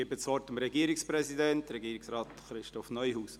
Ich gebe das Wort dem Regierungspräsidenten: Regierungsrat Christoph Neuhaus.